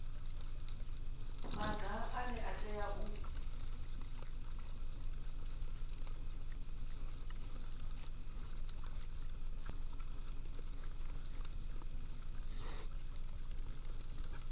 maga ane a tea u